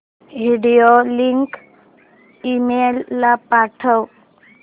video link email ला पाठव